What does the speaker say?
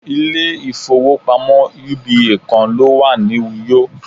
ilé ifowópamọ́ uba kan lo wa ni uyo